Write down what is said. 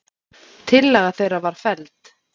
Tillaga þeirra var felld.